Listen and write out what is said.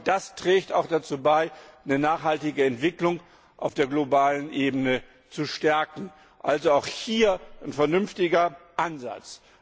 Das trägt auch dazu bei, eine nachhaltige Entwicklung auf der globalen Ebene zu stärken. Also auch hier ein vernünftiger Ansatz.